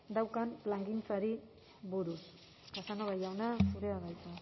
daukan plangintzari buruz casanova jauna zurea da hitza